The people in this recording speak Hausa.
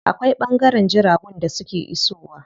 Akwai ɓangaren jiragun da suke iso wa.